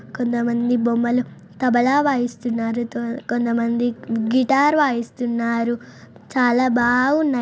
కొంతమంది బొమ్మల తబలా వాయిస్తున్నారుతో కొంతమంది గిటార్ వాయిస్తున్నారుచాలా బావున్నారు